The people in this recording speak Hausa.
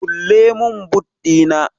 kulle min boot Dina!